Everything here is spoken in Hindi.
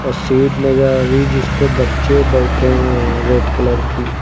सीट नजर आ रही है जिस पे बच्चे बैठे हुए हैं रेड कलर की।